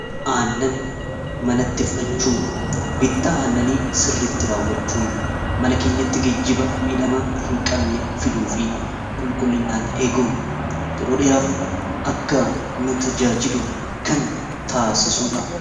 aannan manatti fudhachuu bitta aannanii sirritti raawwachuun mana keenyatti gejjiba miidhama hin qabne fiduu fi qulqullinnaan eeguun yeroo dheeraaf akka nu tajaajilu kan taasisuudha